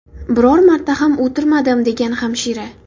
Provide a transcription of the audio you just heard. Biror marta ham o‘tirmadim”, degan hamshira.